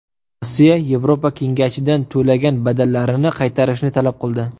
Rossiya Yevropa kengashidan to‘lagan badallarini qaytarishni talab qildi.